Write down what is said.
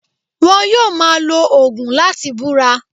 Won yóò máa lo ògùn láti búra